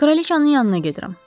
Kralıçanın yanına gedirəm.